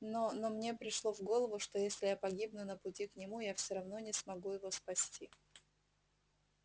но но мне пришло в голову что если я погибну на пути к нему я всё равно не смогу его спасти